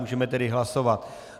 Můžeme tedy hlasovat.